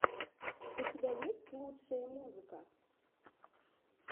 у тебя есть лучшие музыка